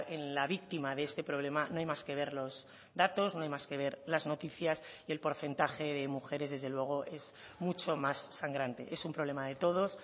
en la víctima de este problema no hay más que ver los datos no hay más que ver las noticias y el porcentaje de mujeres desde luego es mucho más sangrante es un problema de todos